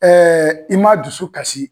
i ma dusu kasi.